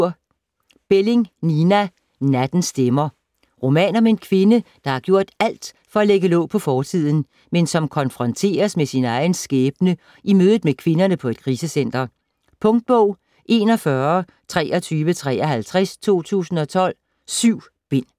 Belling, Nina: Nattens stemmer Roman om en kvinde, der har gjort alt for at lægge låg på fortiden, men som konfronteres med sin egen skæbne i mødet med kvinderne på et krisecenter. Punktbog 412353 2012. 7 bind.